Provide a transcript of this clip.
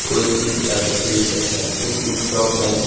कोई सी भी किताबे खरीद सकते हैं इस बुक शॉप मैं--